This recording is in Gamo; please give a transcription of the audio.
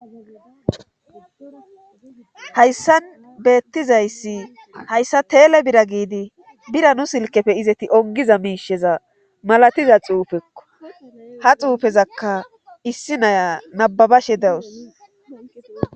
hayssa beettizayssi hayssa teele bira giidi bira nu silkefe izeti ongiza miisheza malatiza xuufekko ha xuufezakka issi naya nababashe dawus